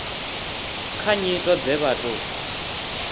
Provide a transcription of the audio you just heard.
kha nyito dze vha tou